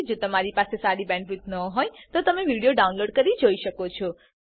જો તમારી પાસે સારી બેન્ડવિડ્થ ન હોય તો તમે વિડીયો ડાઉનલોડ કરીને જોઈ શકો છો